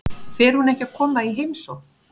Fer hún ekki að koma í heimsókn?